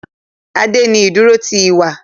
Ade ní iduro ti iwa